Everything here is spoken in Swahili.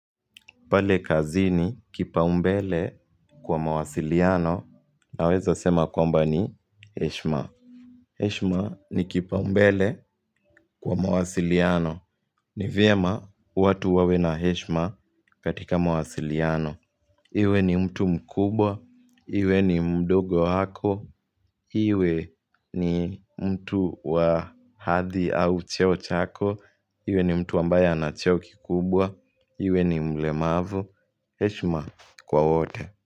Pale kazi ni kipa umbele kwa mawasiliano na weza sema kwamba ni Heshma. Heshma ni kipa umbele kwa mawasiliano. Ni vyema watu wawe na Heshma katika mawasiliano. Iwe ni mtu mkubwa, iwe ni mdogo wako, iwe ni mtu wa hadhi au cheo chako, iwe ni mtu ambaye ana cheo kikubwa, iwe ni mle mavu. Heshima kwa wote.